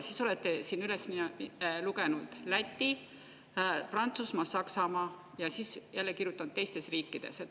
Siis olete üles lugenud Läti, Prantsusmaa, Saksamaa ja siis jälle kirjutanud "teistes riikides".